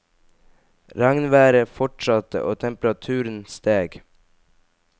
Regnværet fortsatte, og temperaturen steg.